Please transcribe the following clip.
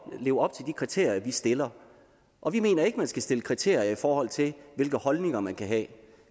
leve op til de kriterier vi stiller og vi mener ikke at man skal stille kriterier i forhold til hvilke holdninger man kan have